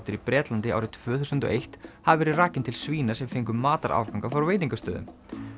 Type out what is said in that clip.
í Bretlandi árið tvö þúsund og eitt hafi verið rakinn til svína sem fengu matarafganga frá veitingastöðum